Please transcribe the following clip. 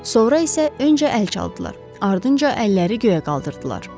Sonra isə öncə əl çaldılar, ardınca əlləri göyə qaldırdılar.